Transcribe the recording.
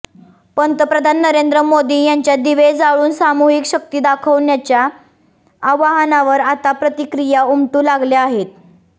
पंतप्रधान नरेंद्र मोदी यांच्या दिवे जाळून सामूहिक शक्ती दाखवण्याच्या आवाहनावर आता प्रतिक्रिया उमटू लागल्या आहेत